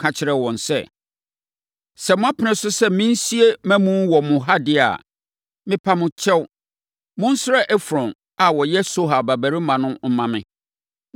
ka kyerɛɛ wɔn sɛ, “Sɛ moapene so sɛ mensie mʼamu no wɔ ha deɛ a, mepa mo kyɛw, monsrɛ Efron a ɔyɛ Sohar babarima no mma me,